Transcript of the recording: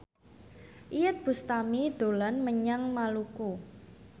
Iyeth Bustami dolan menyang Maluku